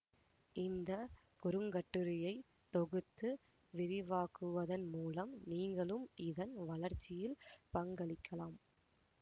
இந்த குறுங்கட்டுரையை தொகுத்து விரிவாக்குவதன் மூலம் நீங்களும் இதன் வளர்ச்சியில் பங்களிக்கலாம்